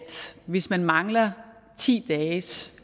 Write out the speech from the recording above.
hvis man mangler ti dages